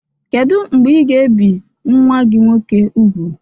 Kedu mgbe ị ga-ebi nwa gị nwoke úgwù?